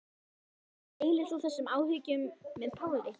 Gunnar Atli: Deilir þú þessum áhyggjum með Páli?